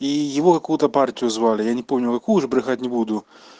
и его какую-то партию звали я не помню как уже брехать не буду